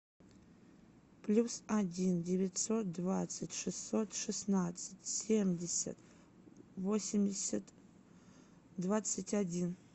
плюс один девятьсот двадцать шестьсот шестнадцать семьдесят восемьдесят двадцать один